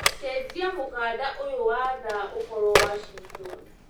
cenjĩa mukanda uyu wa thaa ũkorwo Washington